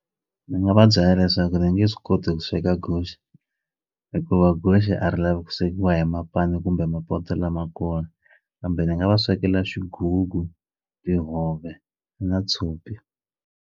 Ndzi nga va byela leswaku ndzi nge swi koti ku sweka guxe hikuva guxe a ri lavi ku swekiwa hi mapani kumbe mapoto lamakulu kambe ni nga va swekela xigugu tihove na tshopi.